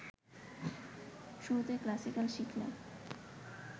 শুরুতে ক্লাসিক্যাল শিখলে